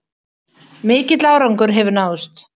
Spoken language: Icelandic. Mikill árangur hefur náðst